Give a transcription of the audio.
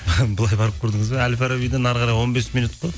былай барып көрдіңіз бе әл фабарбиден әрі қарай он бес минут қой